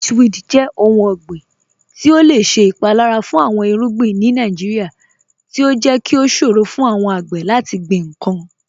Witchweed jẹ ọ̀hùn ọ̀gbiǹ ti o lẹ ṣẹ ipalara fun awọn irugbin ni Nàìjíríà, ti o jẹ́ kí o ṣòro fun awọn agbè lati gbin nkan.